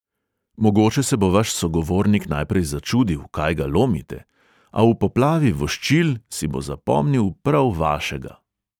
Mogoče se bo vaš sogovornik najprej začudil, kaj ga lomite, a v poplavi voščil si bo zapomnil prav vašega.